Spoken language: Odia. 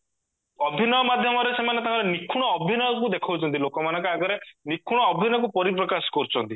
ଅଭିନୟ ମାଧ୍ୟମରେ ସେମାନେ ତାଙ୍କର ନିଖୁଣ ଅଭିନୟକୁ ଦେଖଉଚନ୍ତି ଲୋକ ମାନଙ୍କ ଆଗରେ ନିଖୁଣ ଅଭିନୟକୁ ପରିପ୍ରକାଶ କରୁଚନ୍ତି